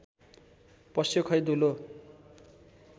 पस्यो खै दुलो